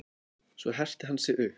Svo herti hann sig upp.